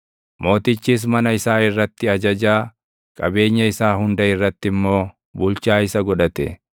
Mootichis mana isaa irratti ajajaa, qabeenya isaa hunda irratti immoo bulchaa isa godhate;